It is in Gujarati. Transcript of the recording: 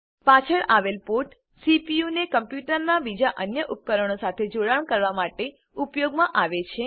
પાછળ આવેલ પોર્ટ સીપીયુને કમ્પ્યુટરનાં બીજા અન્ય ઉપકરણો સાથે જોડાણ કરવા માટે ઉપયોગમાં આવે છે